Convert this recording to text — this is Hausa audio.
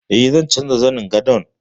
E, zan canja zanin gadon.